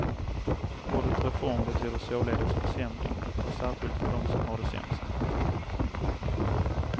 Ordet reform betyder således försämring, och särskilt för dem som har det sämst.